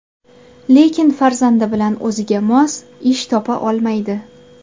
Lekin farzandi bilan o‘ziga mos ish topa olmaydi.